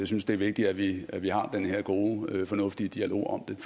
synes det er vigtigt at vi at vi har den her gode fornuftige dialog om